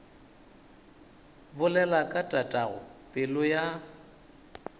bolela ka tatago pelo ya